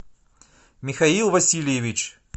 михаил васильевич